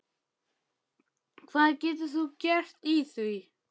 Hvað getur þú gert í því?